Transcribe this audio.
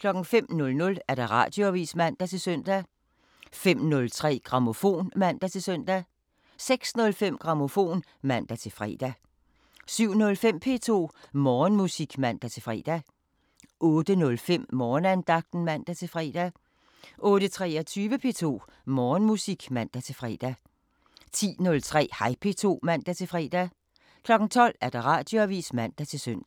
05:00: Radioavisen (man-søn) 05:03: Grammofon (man-søn) 06:05: Grammofon (man-fre) 07:05: P2 Morgenmusik (man-fre) 08:05: Morgenandagten (man-fre) 08:23: P2 Morgenmusik (man-fre) 10:03: Hej P2 (man-fre) 12:00: Radioavisen (man-søn)